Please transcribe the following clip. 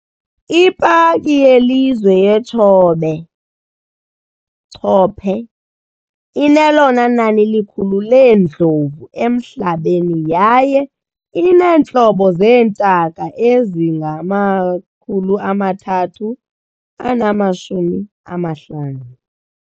Ipaki yelizwe yeTshobe "Chobe" inelona nani likhulu leendlovu emhlabeni yaye ineentlobo zeentaka ezingama-350.